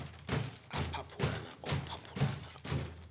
a phaphulana o phaphulana u